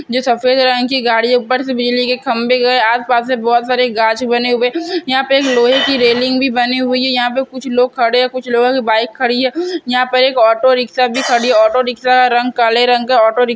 जो सफेद रंग की गाड़ी है ऊपर से बिजली के खंभे भी गए आसपास से बहुत सारे गाछ बने हुए यहां पे एक लोहे की रेलिंग भी बनी हुई है यहां पे कुछ लोग खड़े है कुछ लोगों की बाइक खड़ी है यहां पे एक ऑटो रिक्शा भी खड़ी है ऑटो रिक्शा रंग काले रंग का ऑटो रिक --